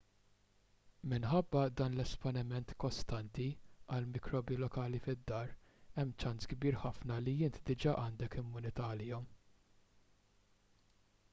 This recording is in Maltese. minħabba dan l-esponiment kostanti għall-mikrobi lokali fid-dar hemm ċans kbir ħafna li inti diġà għandek immunità għalihom